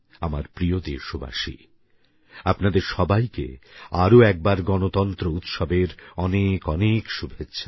আমার প্রিয় দেশবাসী আপনাদের সবাইকে আরো একবার গণতন্ত্র উৎসবের অনেক অনেক শুভেচ্ছা